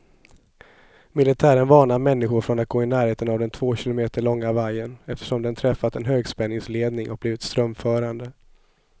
Militären varnar människor från att gå i närheten av den två kilometer långa vajern, eftersom den träffat en högspänningsledning och blivit strömförande.